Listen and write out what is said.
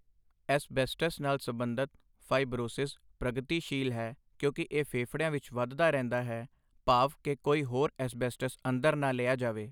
asbestos ਨਾਲ ਸਬੰਧਤ fibrosis ਪ੍ਰਗਤੀਸ਼ੀਲ ਹੈ, ਕਿਉਂਕਿ ਇਹ ਫੇਫੜਿਆਂ ਵਿੱਚ ਵੱਧਦਾ ਰਹਿੰਦਾ ਹੈ ਭਾਵ ਕਿ ਕੋਈ ਹੋਰ ਐੱਸਬੈਸਟਸ ਅੰਦਰ ਨਾ ਲਿਆ ਜਾਵੇ